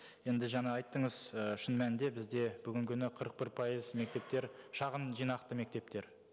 енді жаңа айттыңыз і шын мәнінде бізде бүгінгі күні қырық бір пайыз мектептер шағын жинақты мектептер